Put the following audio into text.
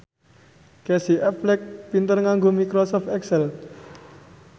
Casey Affleck pinter nganggo microsoft excel